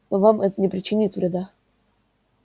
но вам это не причинит вреда